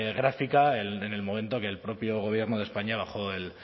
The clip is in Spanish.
gráfica en el momento que el propio gobierno de españa bajó el